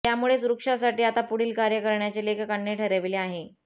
त्यामुळेच वृक्षासाठी आता पुढील कार्य करण्याचे लेखकांनी ठरविले आहे